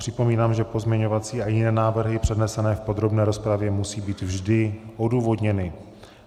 Připomínám, že pozměňovací a jiné návrhy přednesené v podrobné rozpravě musí být vždy odůvodněny.